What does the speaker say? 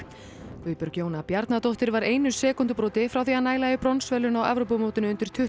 Guðbjörg Jóna Bjarnadóttir var einu sekúndubroti frá því að næla í bronsverðlaun á Evrópumótinu undir tuttugu